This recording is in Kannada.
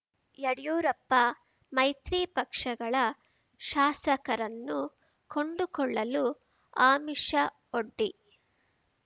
ಯಡಿಯೂರಪ್ಪ ಮೈತ್ರಿ ಪಕ್ಷಗಳ ಶಾಸಕರನ್ನು ಕೊಂಡುಕೊಳ್ಳಲು ಆಮಿಷವೊಡ್ಡಿ